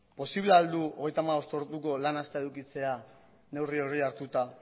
posible ahal du hogeita hamabost orduko lan astea edukitzea neurri hori hartuta